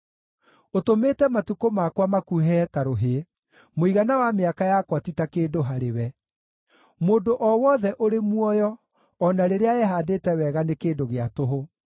Ũtũmĩte matukũ makwa makuhĩhe ta rũhĩ; mũigana wa mĩaka yakwa ti ta kĩndũ harĩwe. Mũndũ o wothe ũrĩ muoyo o na rĩrĩa ehaandĩte wega nĩ kĩndũ gĩa tũhũ.